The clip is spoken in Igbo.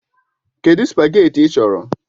Kedụ spageetí ị chọrọ?